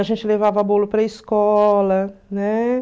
A gente levava bolo para a escola, né?